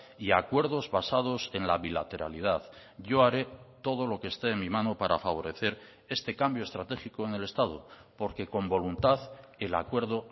y acuerdos basados en la bilateralidad yo haré todo lo que esté en mí mano para favorecer este cambio estratégico en el estado porque con voluntad el acuerdo